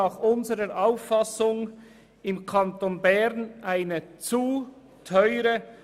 Nach unserer Auffassung ist die Asylpolitik im Kanton Bern zu teuer.